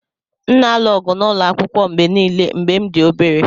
M na-alụ ọgụ n’ụlọ akwụkwọ mgbe nile mgbe m dị obere.